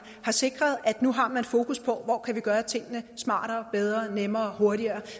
har sikret at nu har man fokus på hvor vi kan gøre tingene smartere bedre nemmere hurtigere